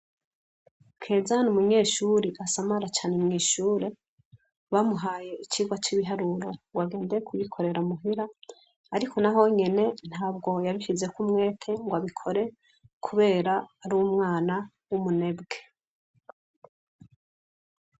Kelzani umunyeshuri asamara cane mw'ishure bamuhaye icirwa c'ibiharuro ngo agende kubikorera muhira, ariko na ho nyene ntabwo yabifizeko umwete ngo abikore, kubera ari umwana w'umunebwe.